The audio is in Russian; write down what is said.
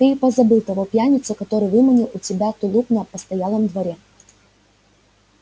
ты и позабыл того пьяницу который выманил у тебя тулуп на постоялом дворе